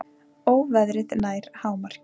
Óveðrið nær hámarki